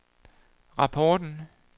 rapporten